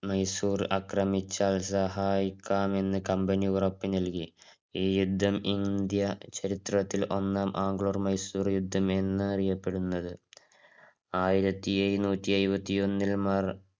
മൈസൂര് അക്രമിച്ചാൽ സഹായിക്കാമെന്ന company ഉറപ്പ് നൽകി. ഈ യുദ്ധം ഇന്ത്യൻ ചരിത്രത്തിൽ ഒന്നാം ആംഗ്ലോ മൈസൂര് യുദ്ധം എന്ന് അറിയപ്പെടുന്നത്. ആയിരത്തി എഴുന്നൂറ്റി എഴുപത്തി ഒന്നില്